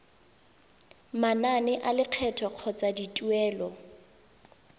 manane a lekgetho kgotsa dituelo